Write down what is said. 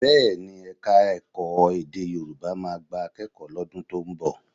Bẹ́ẹ̀ ni, Ẹ̀ka-ẹ̀kọ́ èdè Yorùbá máa gba akẹ́kọ̀ọ́ lọ́dún tó ń nọ̀